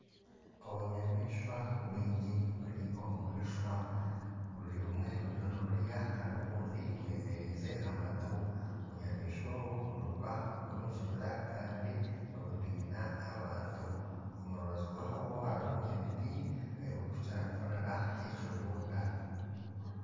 Obunyamaishwa bwingi buri omu ishwa, obumwe buriyo niburya kandi obundi bwemeriize amatu, obunyamaishwa obu nibuba buri omu kibira kandi nibutiina abantu, omu rubaju rwabwo harimu ebiti ahu barikukira kutungira ekibunda